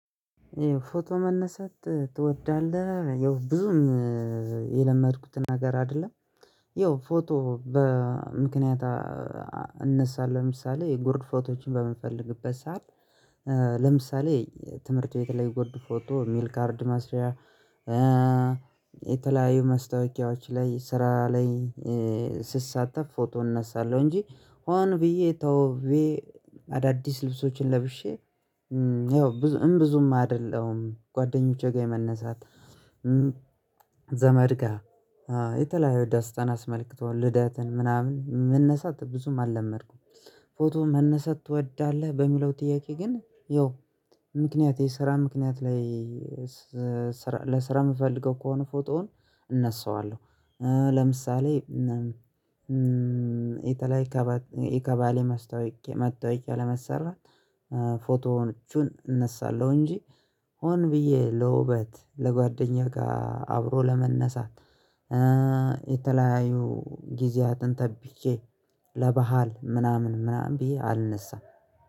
ይኸው ፎቶ መነሳት ትወዳለህ? ይኸው ብዙም የለመድኩትን ነገር አይደለም። ይኸው ፎቶ በምክንያት እነሳለሁ ለምሳሌ የጎርድ ፎቶዎችን በምንፈልግበት ሰዓት። ለምሳሌ ትምህርት ቤት ለይ ጎርድ ፎቶ የሚል ካርድ ማስሪያ መስታወቂያዎች ላይ ስራ ላይ። ስሳተፍ ፎቶ እነሳለሁ እንጂ ሆን ብዬ ተውቤ አዳዲስ ልብሶችን ለብሼ ያው ብዙም ብዙም አይደለም ጓደኞቼ ጋር የመነሳት። ዘመድ ጋር የተለያዩ ደስታን አስመልክቶ ልደትን ምናምን መነሳት ብዙም አላመድኩም። ፎቶ መነሳት ትወዳለህ? በሚለው ጥያቄ ግን ያው ምክንያት የስራ ምክንያት ላይ። ለስራ የምፈልገው ከሆነ ፎቶውን እነሳዋለሁ ለምሳሌ የተለያየ የቀባሌ መስታወቂያ መታውቂያ ለመሰራት ፎቶዎቹን እነሳለሁ እንጂ ሆን ብዬ ለውበት ለጓደኛ ጋር አብሮ ለመነሳት። የተለያዩ ጊዜያትን ጠብቄ ለባህል ምናምን ምናምን ብዬ አልነሳም።